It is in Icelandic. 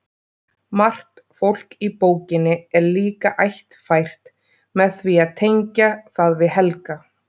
Margt fólk í bókinni er líka ættfært með því að tengja það við Helga.